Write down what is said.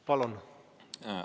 Palun!